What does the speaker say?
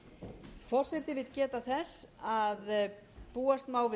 forseti vill geta þess að búast má við